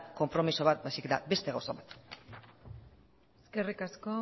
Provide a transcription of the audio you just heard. konpromiso bat baizik eta beste gauza bat eskerrik asko